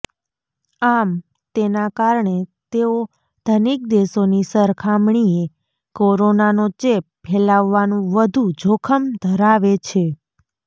આમ તેના કારણે તેઓ ધનિક દેશોની સરખામણીએ કોરોનાનો ચેપ ફેલાવવાનું વધુ જોખમ ધરાવે છે